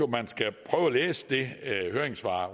man skal prøve at læse det høringssvar